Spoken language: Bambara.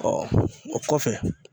o kɔfɛ